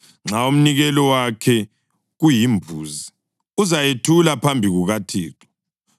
Nxa umnikelo wakhe kuyimbuzi, uzayethula phambi kukaThixo.